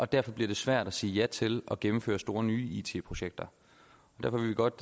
derfor bliver svært at sige ja til at gennemføre store nye it projekter derfor vil vi godt